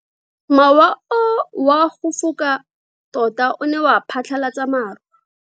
Mowa o wa go foka tota o ne wa phatlalatsa maru.